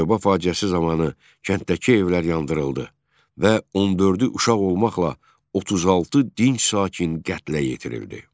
Çayoba faciəsi zamanı kənddəki evlər yandırıldı və 14-ü uşaq olmaqla 36 dinc sakin qətlə yetirildi.